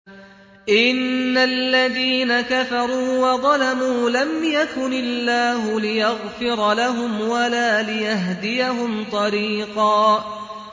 إِنَّ الَّذِينَ كَفَرُوا وَظَلَمُوا لَمْ يَكُنِ اللَّهُ لِيَغْفِرَ لَهُمْ وَلَا لِيَهْدِيَهُمْ طَرِيقًا